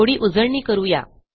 थोडी उजळणी करू या